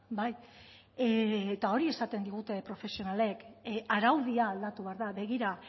bai eta hori esaten digute profesionalek araudia aldatu behar da begira